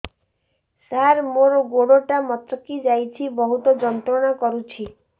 ସାର ମୋର ଗୋଡ ଟା ମଛକି ଯାଇଛି ବହୁତ ଯନ୍ତ୍ରଣା କରୁଛି